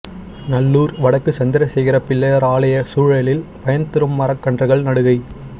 நல்லூர் வடக்கு சந்திரசேகர பிள்ளையார் ஆலய சூழலில் பயன் தரும் மரக்கன்றுகள் நடுகை